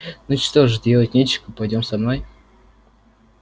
ну что ж делать нечего пойдём со мной